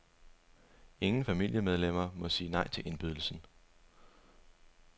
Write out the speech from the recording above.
Ingen familiemedlemmer må sige nej til indbydelsen.